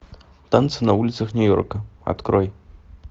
танцы на улицах нью йорка открой